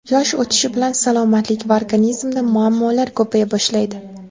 Yosh o‘tishi bilan salomatlik va organizmda muammolar ko‘paya boshlaydi.